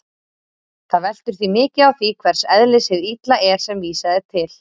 Það veltur því mikið á því hvers eðlis hið illa er sem vísað er til.